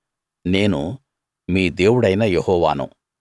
నేను మీ దేవుడైన యెహోవాను